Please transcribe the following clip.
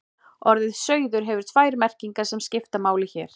Orðið sauður hefur tvær merkingar sem skipta máli hér.